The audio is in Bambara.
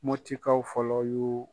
Mɔtikaw fɔlɔ y'u